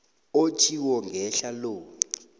otjhiwo ngehla lo